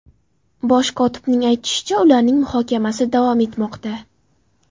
Bosh kotibning aytishicha, ularning muhokamasi davom etmoqda.